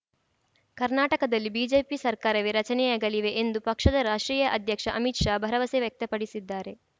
ಕರ್ನಾಟಕದಲ್ಲಿ ಬಿಜೆಪಿ ಸರ್ಕಾರವೇ ರಚನೆಯಾಗಲಿವೆ ಎಂದು ಪಕ್ಷದ ರಾಷ್ಟ್ರೀಯ ಅಧ್ಯಕ್ಷ ಅಮಿತ್‌ ಶಾ ಭರವಸೆ ವ್ಯಕ್ತಪಡಿಸಿದ್ದಾರೆ